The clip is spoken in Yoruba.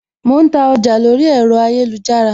Mo ń ta ọjà lórí ẹ̀rọ ayélujára